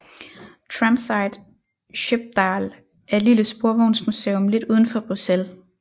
Tramsite Schepdaal er et lille sporvognsmuseum lidt udenfor Bruxelles